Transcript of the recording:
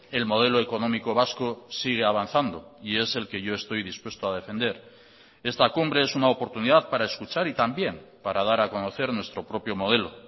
el modelo económico vasco sigue avanzando y es el que yo estoy dispuesto a defender esta cumbre es una oportunidad para escuchar y también para dar a conocer nuestro propio modelo